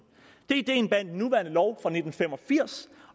det er ideen bag den nuværende lov fra nitten fem og firs